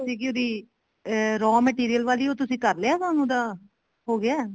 ਸੀਗੀ ਉਹਦੀ raw material ਵਾਲੀ ਉਹ ਤੁਸੀਂ ਕਰ ਲਿਆ ਕੰਮ ਉਹਦਾ ਹੋਗਿਆ